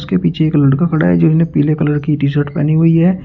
इनके पीछे एक लड़का खड़ा है जो पीले कलर की टीशर्ट पहनी हुई है।